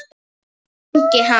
Ingi Hans.